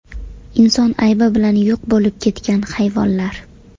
Inson aybi bilan yo‘q bo‘lib ketgan hayvonlar.